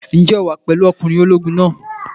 Ǹjẹ́ o wà pẹ̀lú ọkùnrin ológun náà?